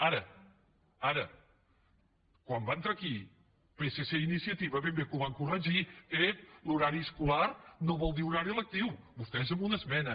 ara ara quan va entrar aquí psc i iniciativa ben bé que ho van corregir ep l’horari escolar no vol dir horari lectiu vostès amb una esmena